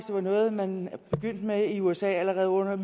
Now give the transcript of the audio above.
det var noget man begyndte med i usa allerede